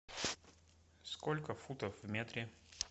сколько футов в метре